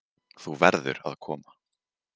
Þú verður að koma.